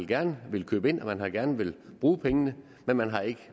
gerne villet købe ind og man har gerne villet bruge pengene men man har ikke